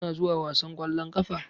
Kuna zuwa wasan ƙwallon ƙafa?